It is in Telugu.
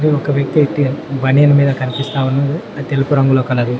ఒక వ్యక్తి అయితే బన్నియన్ మీద కనిపిస్తా వున్నదు అది తెలుపు రంగులో కలదు.